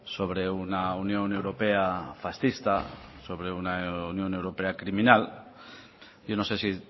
sobre una unión europea fascista sobre una unión europea criminal yo no sé si